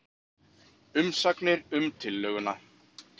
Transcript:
Umsagnir um tillöguna